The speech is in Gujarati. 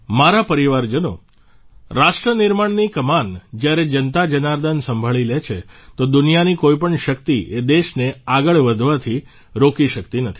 મારા પરિવારજનો રાષ્ટ્રનિર્માણની કમાન જ્યારે જનતાજનાર્દન સંભાળી લે છે તો દુનિયાની કોઇપણ શક્તિ એ દેશને આગળ વધારવાથી રોકી શક્તિ નથી